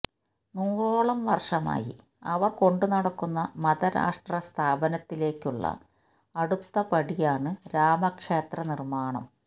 നൂറോളം വർഷമായി അവർ കൊണ്ടുനടക്കുന്ന മതരാഷ്ട്ര സ്ഥാപനത്തിലേക്കുള്ള അടുത്ത പടിയാണ് രാമക്ഷേത്ര നിർമാണം